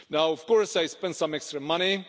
Of course, I spent some extra money.